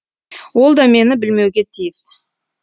ол да мені білмеуге тиіс